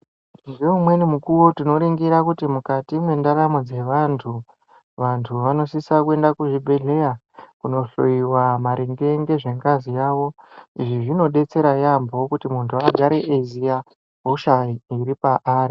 Ngeumweni mukuwo tinoningira kuti mukati mwendaramo dzevantu, vantu vanosisa kuenda kuzvibhedhleya, kunohloiwa maringe ngezvengazi yavo. Izvi zvinodetsera yaampho kuti muntu agare eiziya hosha iri paari.